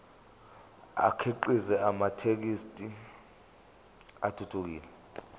akhiqize amathekisthi athuthukile